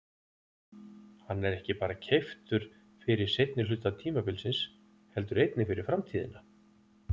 Hann er ekki bara keyptur fyrir seinni hluta tímabilsins heldur einnig fyrir framtíðina.